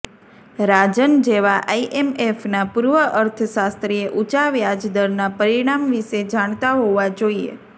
રાજન જેવા આઇએમએફના પૂર્વ અર્થશાસ્ત્રીએ ઊંચા વ્યાજદરના પરિણામ વિશે જાણતા હોવા જોઇએ